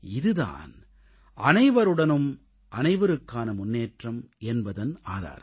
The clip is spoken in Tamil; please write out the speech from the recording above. இது தான் அனைவருடனும் அனைவருக்கான முன்னேற்றம் என்பதன் ஆதாரம்